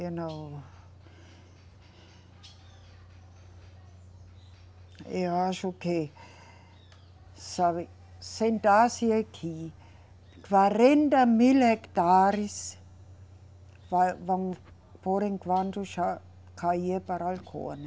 Eu não. Eu acho que, sabe, sentar-se aqui, quarenta mil hectares vai, vão, por enquanto, já cair para a Alcoa.